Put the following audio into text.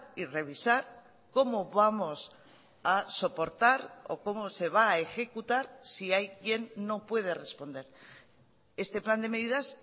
y revisar cómo vamos a soportar o cómo se va a ejecutar si hay quien no puede responder este plan de medidas